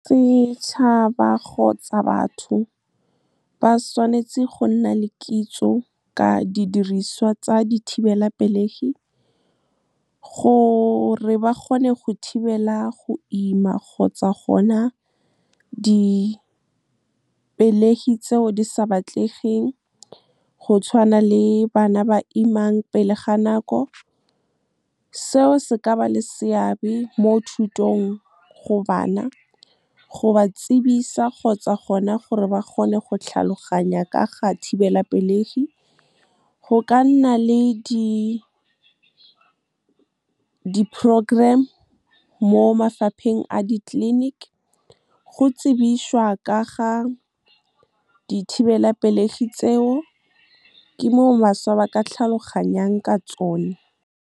Setšhaba kgotsa batho ba tshwanetse go nna le kitso ka didiriswa tsa dithibelapelegi, gore ba kgone go thibela go ima kgotsa gona dipelegi tseo di sa batlegeng, go tshwana le bana ba imang pele ga nako. Seo se ka ba le seabe mo thutong go bana, go ba tsebisa kgotsa gona gore ba kgone go tlhaloganya ka ga thibelapelegi. Go ka nna le di-program mo mafapheng a di-clinic, go tsebišwa ka ga dithibelapelegi tseo. Ke mo bašwa ba ka tlhaloganyang ka tsone. Setšhaba kgotsa batho ba tshwanetse go nna le kitso ka didiriswa tsa dithibelapelegi, gore ba kgone go thibela go ima kgotsa gona dipelegi tseo di sa batlegeng, go tshwana le bana ba imang pele ga nako. Seo se ka ba le seabe mo thutong go bana, go ba tsebisa kgotsa gona gore ba kgone go tlhaloganya ka ga thibelapelegi. Go ka nna le di-program mo mafapheng a di-clinic, go tsebišwa ka ga dithibelapelegi tseo. Ke mo bašwa ba ka tlhaloganyang ka tsone.